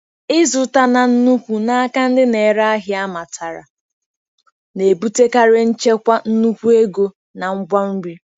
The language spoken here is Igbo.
Ịzụta na nnukwu n'aka ndị na-ere ahịa amatara na-ebutekarị nchekwa nnukwu ego na ngwa nri.